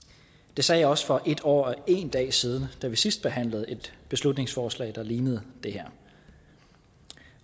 det sagde jeg også for en år og en dag siden da vi sidst behandlede et beslutningsforslag der ligner det her